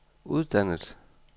uddannet